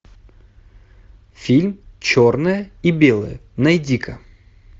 фильм черное и белое найди ка